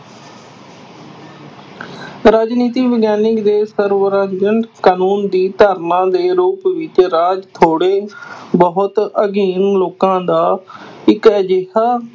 ਰਾਜਨੀਤੀ ਵਿਗਿਆਨਕ ਦੇ ਕਾਨੂੰਨ ਦੀ ਧਾਰਨਾ ਦੇ ਰੂਪ ਵਿੱਚ ਰਾਜ ਥੋੜ੍ਹੇ ਬਹੁਤ ਅਧੀਨ ਲੋਕਾਂ ਦਾ ਇੱਕ ਅਜਿਹਾ